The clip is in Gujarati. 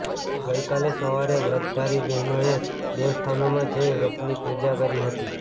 ગઈકાલે સવારે વ્રતધારી બહેનોએ દેવસ્થાનોમાં જઈ વ્રતની પૂજા કરી હતી